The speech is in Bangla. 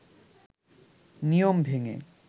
নিয়ম ভেঙ্গে